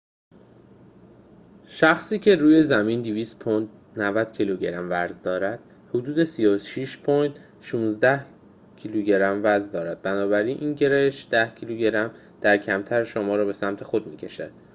شخصی که روی زمین 200 پوند 90 کیلوگرم وزن دارد، حدود 36 پوند 16 کیلوگرم در lo وزن دارد. بنابراین گرانش کمتر شما را به سمت خود می‌کشد